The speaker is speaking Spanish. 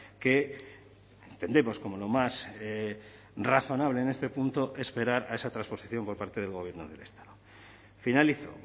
que entendemos como lo más razonable en este punto esperar a esa transposición por parte del gobierno del estado finalizo